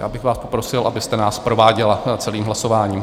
Já bych vás poprosil, abyste nás prováděla celým hlasováním.